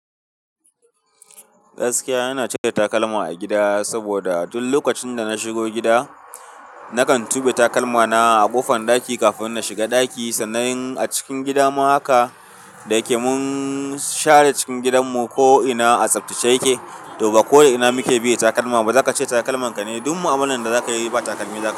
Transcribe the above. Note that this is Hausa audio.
Gaskiya, ina cire takalma a gida saboda duk lokacin da na shigo gida, nakan tuɓe takalmana a ƙofan ɗaki kafin na shiga ɗaki sannan a cikin gida ma haka. Da kemun share cikin gidanmu ko'ina a tsaftace yake. To, ba ko'ina muke biye takalma ba za ka ce takalmanka ne. Duk mu'ama lan da za ka yi ba takalmi za ka yi.